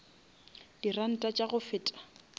di ranta tša go feta